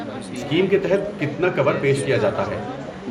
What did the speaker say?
Scheme کے تحت کتنا کور پیش کیا جاتا ہے؟